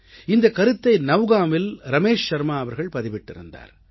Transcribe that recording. இந்தக் கருத்தை நவ்கான்வில் ரமேஷ் ஷர்மா அவர்கள் பதிவிட்டிருந்தார்